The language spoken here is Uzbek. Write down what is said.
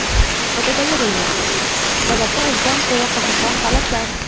Fotogalereya: Sababi o‘zidan ko‘ra qiziqroq holatlar.